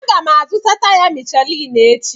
Aga m azụta taya Michelin echi.